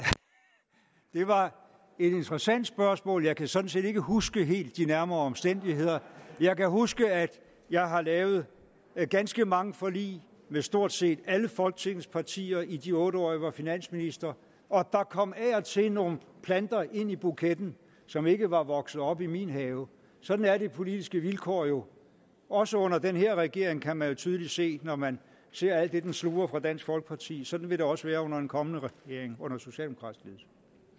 et interessant spørgsmål jeg kan sådan set ikke helt huske de nærmere omstændigheder jeg kan huske at jeg har lavet ganske mange forlig med stort set alle folketingets partier i de otte år jeg var finansminister og der kom af og til nogle planter ind i buketten som ikke var vokset op i min have sådan at de politiske vilkår jo også under den her regering kan man jo tydeligt se det når man ser alt det den sluger fra dansk folkeparti sådan vil det også være under en kommende regering under socialdemokratisk ledelse